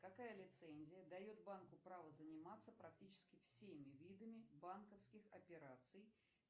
какая лицензия дает банку право заниматься практически всеми видами банковских операций